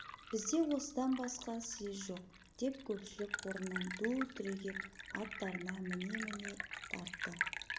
бізде осыдан басқа сез жоқ деп көпшілік орнынан ду түрегеп аттарына міне-міне тартты